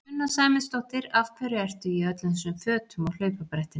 Sunna Sæmundsdóttir: Af hverju ertu í öllum þessum fötum á hlaupabrettinu?